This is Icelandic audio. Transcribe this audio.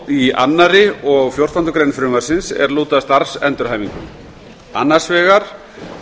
í öðrum og fjórtándu greinar frumvarpsins er lúta að starfsendurhæfingunni annars vegar